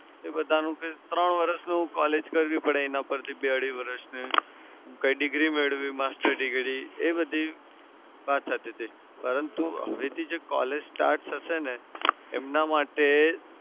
એ બધાનું કંઈ ત્રણ વરસનું collage કરવી પડે એના પરથી બે અઢી વરસની degree master degree એ બધી વાત થતી તી પરંતુ હવેથી જે collage start થશે ને એમના માટે